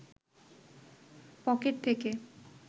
pocket থেকে